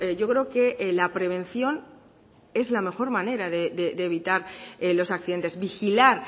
yo creo que la prevención es la mejor manera de evitar los accidentes vigilar